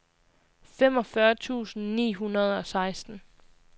femogfyrre tusind ni hundrede og seksten